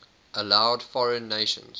allowed foreign nations